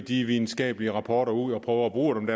de videnskabelige rapporter ud og prøver at bruge dem